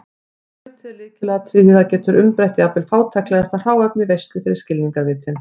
Skrautið er lykilatriði því það getur umbreytt jafnvel fátæklegasta hráefni í veislu fyrir skilningarvitin.